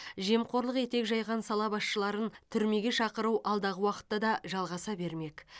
жемқорлық етек жайған сала басшыларын түрмеге шақыру алдағы уақытта да жалғаса бермек